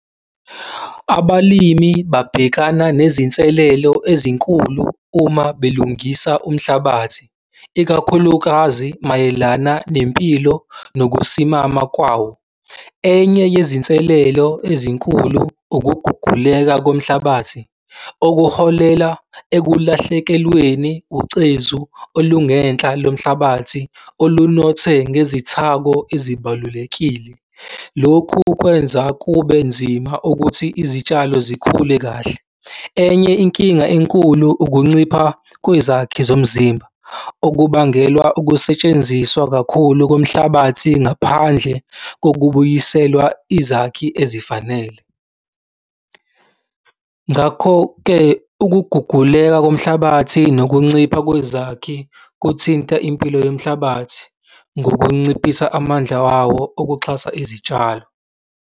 Abalimi babhekana nezinselelo ezinkulu uma belungisa umhlabathi, ikakhulukazi mayelana nempilo nokusimama kwawo. Enye yezinselelo ezinkulu ukuguguleka komhlabathi okuholela ekulahlekelweni ucezu olungenhla lomhlabathi olunothe ngezithako ezibalulekile. Lokhu kwenza kubenzima ukuthi izitshalo zikhule kahle. Enye inkinga enkulu ukuncipha kwezakhi zomzimba, okubangelwa ukusetshenziswa kakhulu komhlabathi ngaphandle kokubuyiselwa izakhi ezifanele. Ngakho-ke, ukuguguleka komhlabathi nokuncipha kwezakhi kuthinta impilo yomhlabathi ngokunciphisa amandla wawo okuxhasa izitshalo.